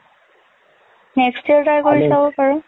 next year try কৰি চাব পাৰ।